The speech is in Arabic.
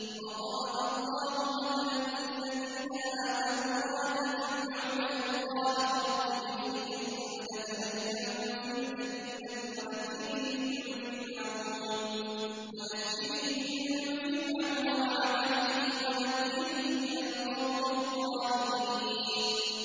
وَضَرَبَ اللَّهُ مَثَلًا لِّلَّذِينَ آمَنُوا امْرَأَتَ فِرْعَوْنَ إِذْ قَالَتْ رَبِّ ابْنِ لِي عِندَكَ بَيْتًا فِي الْجَنَّةِ وَنَجِّنِي مِن فِرْعَوْنَ وَعَمَلِهِ وَنَجِّنِي مِنَ الْقَوْمِ الظَّالِمِينَ